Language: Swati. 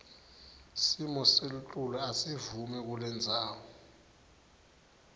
simoselitulu asivumi kulendzawo